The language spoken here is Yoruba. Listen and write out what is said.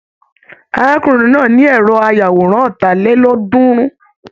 Arákùnrin náà ní ẹrọ ayàwòrán ọ́ta lélọ́ọ̀dúnrún.